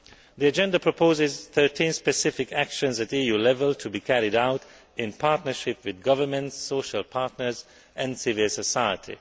The agenda proposes 13 specific actions at EU level to be carried out in partnership with governments, social partners and civil society.